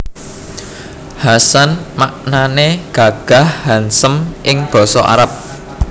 Hasan maknané gagah handsome ing Basa Arab